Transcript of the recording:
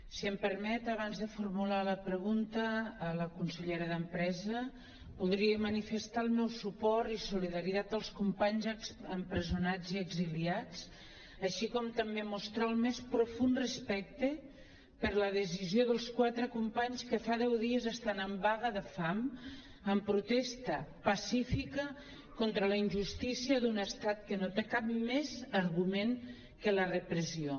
si em permet abans de formular la pregunta a la consellera d’empresa voldria manifestar el meu suport i solidaritat als companys empresonats i exiliats així com també mostrar el més profund respecte per la decisió dels quatre companys que fa deu dies estan en vaga de fam en protesta pacífica contra la injus·tícia d’un estat que no té cap més argument que la repressió